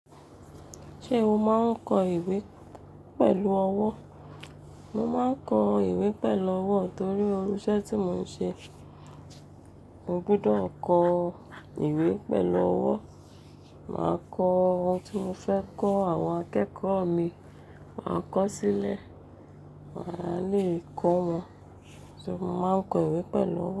Ṣé o máa ń kọ ìwé pẹ̀lú ọwọ́? Mo máa ń kọ ìwé pẹ̀lú ọwọ́ torí irú iṣẹ́ tí mò ń ṣe, mo gbúdọ̀ kọ ìwé pẹ̀lú ọwọ́. Màá kọ ohun tí mo fẹ́ kọ́ àwọn akẹ́kọ̀ọ́ mi, màá kọ ó sílẹ̀. Màá lè kọ́ wọn. So ma kọ ìwé pẹ̀lú ọwọ́